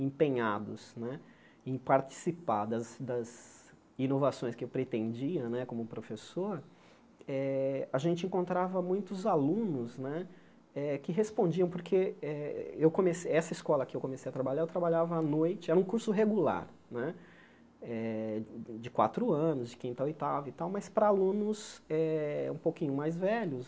empenhados né em participar das das inovações que eu pretendia né como professor eh, a gente encontrava muitos alunos né eh que respondiam, porque eh eu comece essa escola que eu comecei a trabalhar, eu trabalhava à noite, era um curso regular né eh, de quatro anos, de quinta ou oitava e tal, mas para alunos eh um pouquinho mais velhos,